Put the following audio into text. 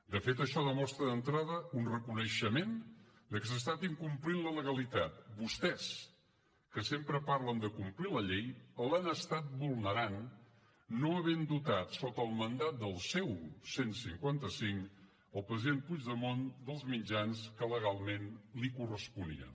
de fet això demostra d’entrada un reconeixement de que s’ha estat incomplint la legalitat vostès que sempre parlen de complir la llei l’han estat vulnerant no havent dotat sota el mandat del seu cent i cinquanta cinc el president puigdemont dels mitjans que legalment li corresponien